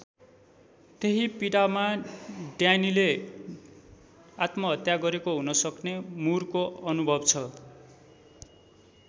त्यही पीडामा ड्यानीले आत्महत्या गरेको हुनसक्ने मुरको अनुभव छ।